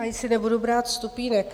Ani si nebudu brát stupínek.